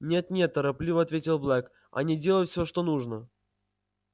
нет нет торопливо ответил блэк они делают все что нужно